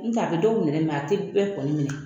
N tɛ a be dɔw minɛ , a te bɛɛ kɔni minɛ.